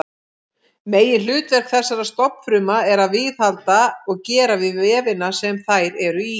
Meginhlutverk þessara stofnfrumna er að viðhalda og gera við vefina sem þær eru í.